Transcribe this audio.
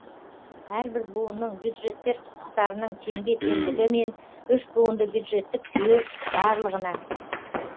әрбір буынның бюджеттер құқықтарының теңбе теңдігі мен үшбуынды бюджеттік жүйе барлығына